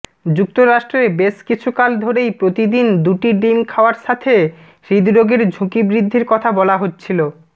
যুক্তরাষ্ট্রে বেশ কিছুকাল ধরেই প্রতিদিন দুটি ডিম খাওয়ার সাথে হৃদরোগের ঝুঁকি বৃদ্ধির কথা বলা হচ্ছিল